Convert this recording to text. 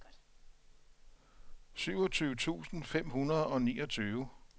syvogtyve tusind fem hundrede og niogtyve